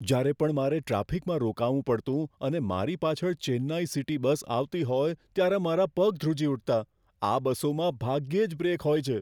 જ્યારે પણ મારે ટ્રાફિકમાં રોકાવું પડતું અને મારી પાછળ ચેન્નઈ સિટી બસ આવતી હોય ત્યારે મારા બુટ ધ્રુજી ઉઠતા, આ બસોમાં ભાગ્યે જ બ્રેક હોય છે.